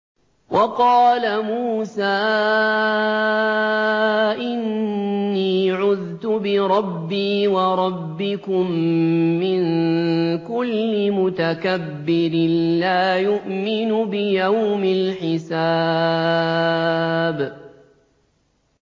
وَقَالَ مُوسَىٰ إِنِّي عُذْتُ بِرَبِّي وَرَبِّكُم مِّن كُلِّ مُتَكَبِّرٍ لَّا يُؤْمِنُ بِيَوْمِ الْحِسَابِ